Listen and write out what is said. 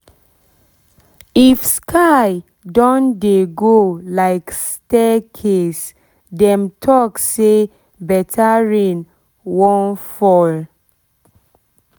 if sky don dey go like stair case dem talk say better rain wan fall